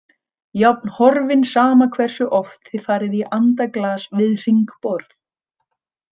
Jafn horfinn sama hversu oft þið farið í andaglas við hringborð.